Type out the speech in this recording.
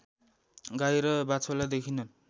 गाई र बाछोलाई देखिन्